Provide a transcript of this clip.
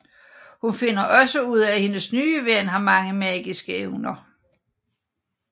Hun finder også ud af at hendes nye ven har mange magiske evner